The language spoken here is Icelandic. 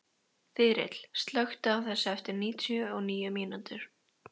Þyrill, slökktu á þessu eftir níutíu og níu mínútur.